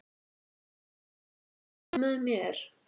Svanbjört, spilaðu lagið „Með þér“.